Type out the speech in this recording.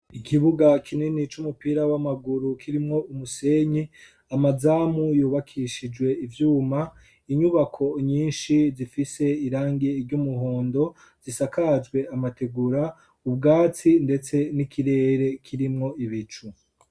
Ikibuga kinini c'umupira w'amaguru, kirimwo umusenyi amazamu yubakishijwe ivyuma inyubako nyinshi zifise irangi ry'umuhondo zisakazwe amategura ubwatsi ndetse n'ikirere kirimwo ibicu.